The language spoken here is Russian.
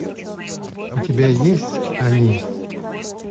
у тебя есть они